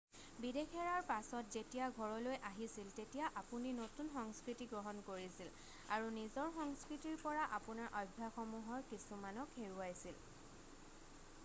বিদেশ এৰাৰ পাছত যেতিয়া ঘৰলৈ আহিছিল তেতিয়া আপুনি নতুন সংস্কৃতি গ্ৰহণ কৰিছিল আৰু নিজৰ সংস্খৃতিৰ পৰা আপোনাৰ অভ্যাসসমূহৰ কিছুমানক হেৰুৱাইছিল৷